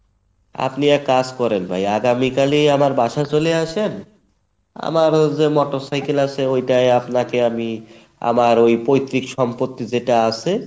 আপনি এক কাজ করেন ভাই আগামীকালই আমার বাসায় চলে আসেন আমার ও যে motorcycle আছে ঐটায় আপনাকে আমি আমার ওই পৈত্রিক সম্পত্তি যেটা আছে